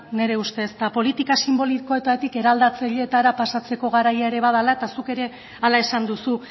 nire ustez eta politika sinbolikoetatik eraldatzeetara pasatzeko garaia ere badela eta zuk ere hala esan duzu